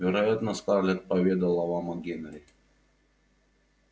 вероятно скарлетт поведала вам о генри